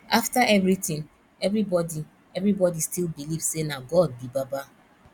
after everything everybody everybody still believe say na god be baba